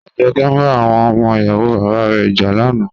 Ajoke n ba awon omo iyawo baba re ja lana.